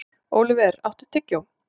Óliver, áttu tyggjó?